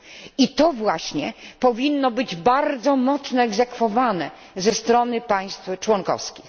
I to właśnie powinno być bardzo mocno egzekwowane ze strony państw członkowskich.